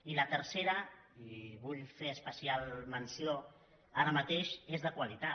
i la tercera i en vull fer especial menció ara mateix és de qualitat